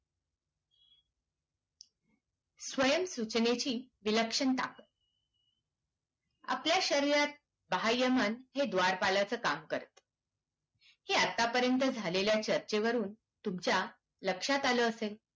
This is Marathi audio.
स्वयम सुचणेची विलक्षनता आपल्या शरीरात बहया मन हे द्वारपालाच काम करते हे आता पर्यन्त झालेल्या चर्चेवरून तुमच्या लक्ष्यात आल असेल